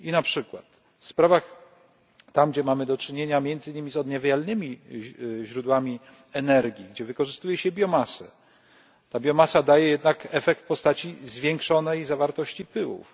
I na przykład w sprawach tam, gdzie mamy do czynienia między innymi z odnawialnymi źródłami energii, gdzie wykorzystuje się biomasę, ta biomasa daje jednak efekt w postaci zwiększonej zawartości pyłów.